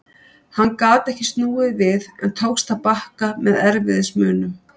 Hann gat ekki snúið við en tókst að bakka með erfiðismunum.